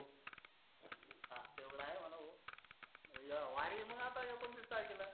या वारीला या मग एकोणतीस तारखेला.